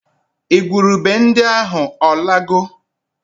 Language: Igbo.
Igwurube ndị ahụ ọ lago?